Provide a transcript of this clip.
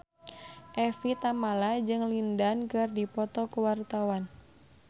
Evie Tamala jeung Lin Dan keur dipoto ku wartawan